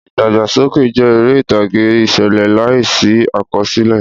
Ìdàgbàsókè jẹ́ eré ìtàgé ìṣẹ̀lẹ̀ láìsí àkọsílẹ̀.